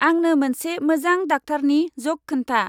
आंनो मोनसे मोजां डाक्टारनि जक खोन्था।